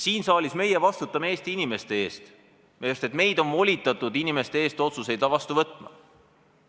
Siin saalis meie vastutame Eesti inimeste ees, sest meid on volitatud inimeste eest otsuseid vastu võtma.